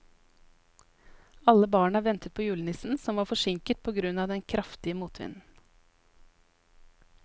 Alle barna ventet på julenissen, som var forsinket på grunn av den kraftige motvinden.